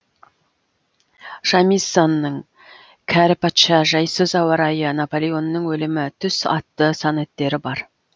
шамиссоның кәрі патша жайсыз ауа райы наполеонның өлімі түс атты сонеттері бар